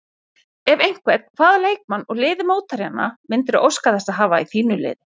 Ef einhvern, hvaða leikmann úr liði mótherjanna myndirðu óska þess að hafa í þínu liði?